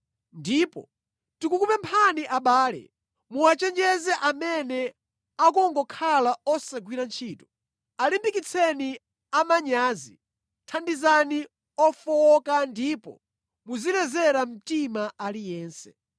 Ndipo tikukupemphani abale, muwachenjeze amene akungokhala osagwira ntchito, alimbikitseni amanyazi, thandizani ofowoka ndipo muzilezera mtima aliyense.